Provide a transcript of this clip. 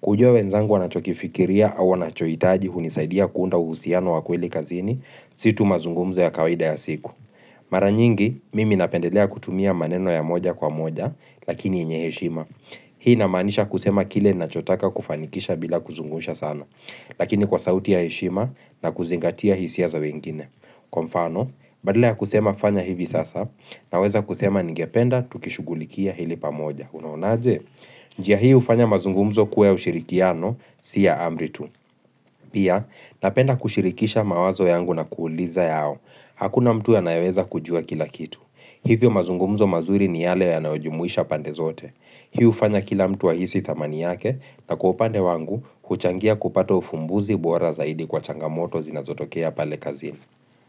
Kujua wenzangu wanachokifikiria au wanachoitaji hunisaidia kuunda uhusiano wa kuhili kazini, situ mazungumzo ya kawide ya siku. Mara nyingi, mimi napendelea kutumia maneno ya moja kwa moja, lakini yenye hishima. Hii namaanisha kusema kile na chotaka kufanikisha bila kuzungusha sana. Lakini kwa sauti ya heshima na kuzingatia hisia za wengine. Kwa mfano, badala ya kusema fanya hivi sasa na weza kusema ningependa tukishugulikia hili pamoja. Unaonaje?, Njia hii ufanya mazungumzo kuwa ushirikiano, siya amritu. Pia, napenda kushirikisha mawazo yangu na kuuliza yao. Hakuna mtu ya naweza kujua kila kitu. Hivyo mazungumzo mazuri ni yale ya nayojumuisha pande zote. Hii ufanya kila mtu wa hisi dhamani yake na kuopande wangu, huchangia kupata ufumbuzi buwara zaidi kwa changamoto zinazotokea pale kazi.